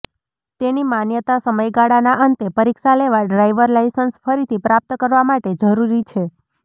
તેની માન્યતા સમયગાળાના અંતે પરીક્ષા લેવા ડ્રાઇવર લાયસન્સ ફરીથી પ્રાપ્ત કરવા માટે જરૂરી છે